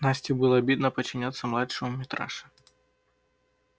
насте было обидно подчиняться младшему митраше